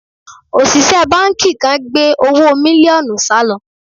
Òṣìṣẹ́ báńkì kan gbé owó mílíọ̀nù sálò